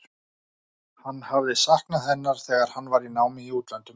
Hann hafði saknað hennar þegar hann var í námi í útlöndum.